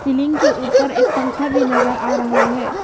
Ceiling के ऊपर एक पंखा भी नजर आ रहा है।